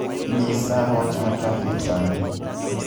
nyisa wach ma trafik sani